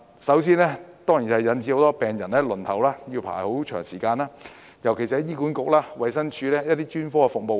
首先，當然是引致很多病人輪候時間太長，尤其是醫院管理局和衞生署的專科服務。